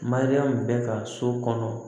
Mariyamu bɛ ka so kɔnɔ